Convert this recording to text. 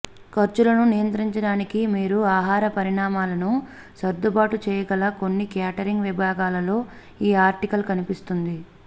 ఖర్చులను నియంత్రించడానికి మీరు ఆహార పరిమాణాలను సర్దుబాటు చేయగల కొన్ని క్యాటరింగ్ విభాగాలలో ఈ ఆర్టికల్ కనిపిస్తుంది